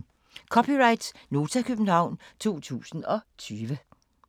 (c) Nota, København 2020